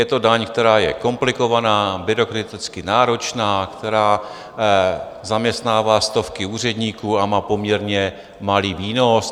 Je to daň, která je komplikovaná, byrokraticky náročná, která zaměstnává stovky úředníků a má poměrně malý výnos.